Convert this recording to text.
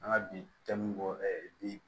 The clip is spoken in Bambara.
An ka bi jaamu bɔ bi